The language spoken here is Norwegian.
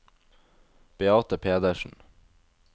Beate Pedersen